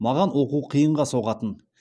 маған оқу қиынға соғатын